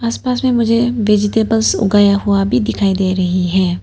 आसपास में मुझे वेजिटेबल्स उगाया हुआ भी दिखाई दे रही है।